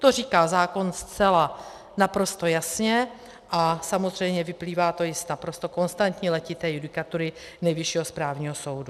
To říká zákon zcela naprosto jasně a samozřejmě vyplývá to i z naprosto konstantní letité judikatury Nejvyššího správního soudu.